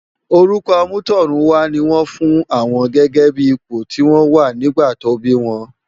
Órùkò àmútòrúnwá ni wòn fún áwòn gègè bi ipó ti wòn wá nigbá tò bi wòn